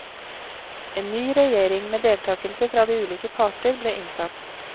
En ny regjering med deltakelse fra de ulike parter ble innsatt.